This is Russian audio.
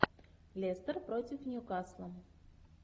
лестер против ньюкасла